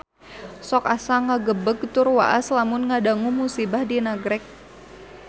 Sok asa ngagebeg tur waas lamun ngadangu musibah di Nagreg